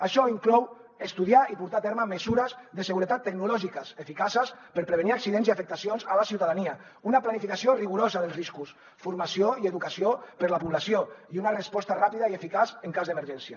això inclou estudiar i portar a terme mesures de seguretat tecnològiques eficaces per prevenir accidents i afectacions a la ciutadania una planificació rigorosa dels riscos formació i educació per a la població i una resposta ràpida i eficaç en cas d’emergència